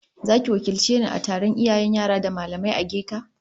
Zaki wakilce ni a taron iyayen yara da mallamai ageka